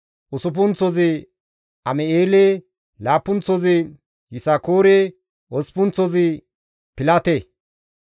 usuppunththozi Am7eele, laappunththozi Yisakoore, osppunththozi Pilate.